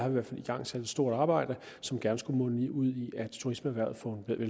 i hvert fald igangsat et stort arbejde som gerne skulle munde ud i at turismeerhvervet